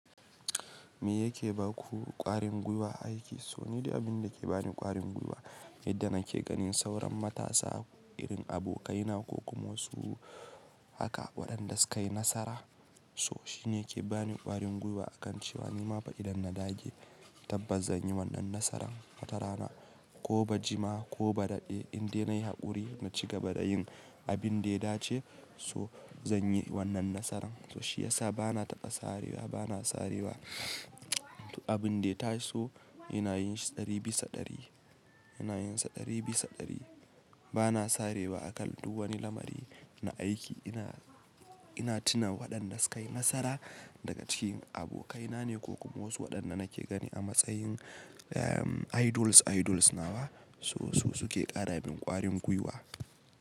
Me yake ba ku ƙwarin gwiwa aiki? So ni dai abin da ke bani ƙwarin gwiwa yandan na ke ganin sauran matasa irin abokaina ko kuma wasu haka waɗanda suka yi nasara. So shine yake bani ƙwarin gwiwa akan cewa nima fa idan na dage tabbas zan yi wannan nasaran. Watara na ko ba jima ko ba daɗe indai nayi haƙuri na ci gaba da yin abin da ya dace so zan yi wannan nasaran. So shi yasa bana taɓa sarewa bana sarewa. Abin da ya taso ina yin shi ɗari bisa ɗari ina yin sa ɗari bisa ɗari bana sarewa akan duk wani lamari na aiki ina, ina tuna waɗanda suka yi nasara daga cikin abokaina ne ko kuma wasu waɗanda na ke gani a matsayin eh idols idols nawa so su suke ƙara min ƙwarin gwiwa.